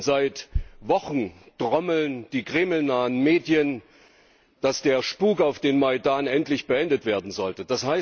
Seit Wochen trommeln die Kreml nahen Medien, dass der Spuk auf dem Majdan endlich beendet werden sollte.